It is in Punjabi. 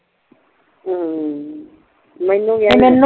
ਹਮ ਮੈਂਨੂੰ ਵੀ